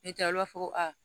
N'i tɛ u b'a fɔ ko a